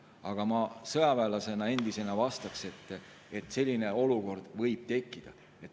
Aga ma endise sõjaväelasena vastan, et selline olukord võib tekkida.